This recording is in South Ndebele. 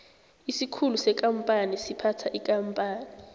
isikhulu sekampani siphatha ikampani